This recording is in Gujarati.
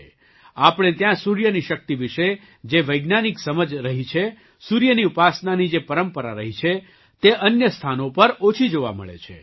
આપણે ત્યાં સૂર્યની શક્તિ વિશે જે વૈજ્ઞાનિક સમજ રહી છ સૂર્યની ઉપાસનાની જે પરંપરા રહી છે તે અન્ય સ્થાનો પર ઓછી જોવા મળે છે